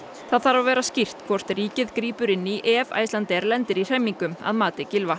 það þarf að vera skýrt hvort ríkið grípur inn í ef Icelandair lendir í hremmingum að mati Gylfa